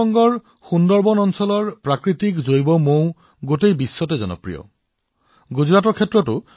পশ্চিম বংগৰ সুন্দৰবন অঞ্চলৰ প্ৰাকৃতিক জৈৱিক মৌ সমগ্ৰ বিশ্বৰে পছন্দৰ